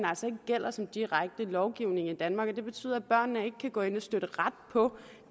gælder som direkte lovgivning i danmark og det betyder at børnene ikke kan gå ind og støtte ret på